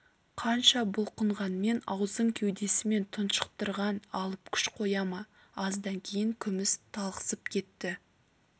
қанша бұлқынғанмен аузын кеудесімен тұншықтырған алып күш қоя ма аздан кейін күміс талықсып кетті